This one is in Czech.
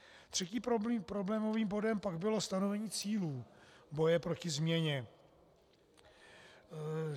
Třetím problémovým bodem pak bylo stanovení cílů boje proti změně.